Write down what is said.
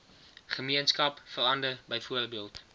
gemeenskap verander byvoorbeeld